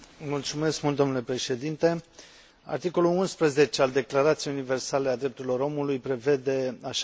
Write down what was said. Articolul 11 al Declarației Universale a Drepturilor Omului prevede, așa cum știți, dreptul la un proces echitabil.